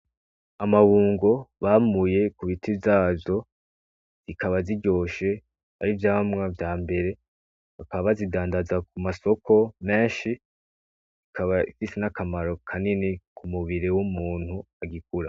Amabungo bamuye ku biti vyazyo zikaba ziryoshe ari vyamwa vya mbere bakaba bazidandaza ku masoko menshi zikaba zisi n'akamaro kanini ku mubiri w'umuntu agikura.